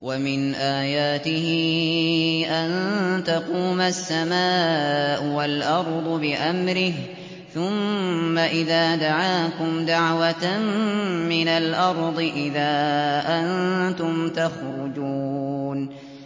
وَمِنْ آيَاتِهِ أَن تَقُومَ السَّمَاءُ وَالْأَرْضُ بِأَمْرِهِ ۚ ثُمَّ إِذَا دَعَاكُمْ دَعْوَةً مِّنَ الْأَرْضِ إِذَا أَنتُمْ تَخْرُجُونَ